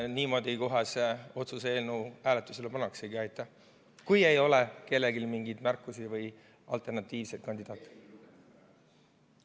Niimoodi kohe see otsuse eelnõu hääletusele pannaksegi, kui ei ole kellelgi mingeid märkusi või alternatiivset kandidaati.